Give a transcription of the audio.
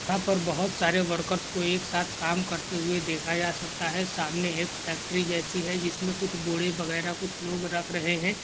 यहा पर बहूत सारे वर्कर्स को एक साथ काम करते हुए देखा जा सकता है सामने एक फ़ैक्टरि जैसी है जिसमे कूड़े वगैरा कुछ रख रहे है।